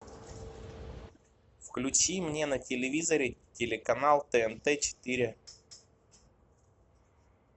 включи мне на телевизоре телеканал тнт четыре